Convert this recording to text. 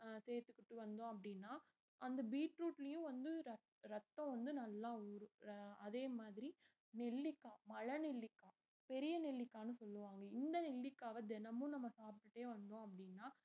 சேத்துக்கிட்டு வந்தோம் அப்படினா அந்த பீட்ரூட்லயும் வந்து ரத்~ ரத்தம் வந்து நல்லா ஊரும் அதே மாதிரி நெல்லிக்காய் மல நெல்லிக்காய் பெரிய நெல்லிக்காய்ன்னு சொல்லுவாங்க இந்த நெல்லிக்காவ தினமும் நம்ம சாப்பிட்டுட்டே வந்தோம் அப்படின்னா